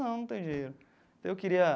Não, não tenho dinheiro daí eu queria.